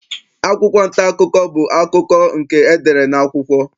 Akwụkwụ nta akụkọ bụ akụkọ nke e dere n'akwụkwọ.